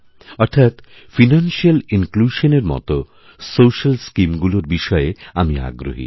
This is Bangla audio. অর্থাৎ ফাইনান্সিয়ালিনক্লুশন এর মত সোশিয়াল স্কিম গুলোর বিষয়ে আমিআগ্রহী